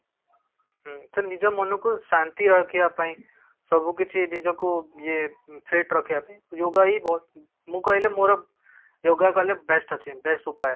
ଉମ ତ ନିଜ ମନ କୁ ଶାନ୍ତି ରଖିବା ପାଇଁ ସବୁ କିଛି ନିଜକୁ ଇଏ fit ରଖିବା ପାଇଁ yoga ହି ମୁଁ କହିଲେ ମୋର yoga କଲେ best ଅଛି best ଉପାୟ